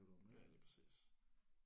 Ja lige præcis